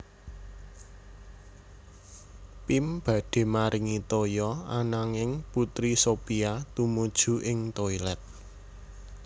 Pim badhe maringi toya ananging Putri Sophia tumuju ing toilet